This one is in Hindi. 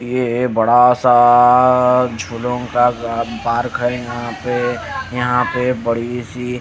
ये बड़ा सा झूलों का गा यहां पे बड़ी सी--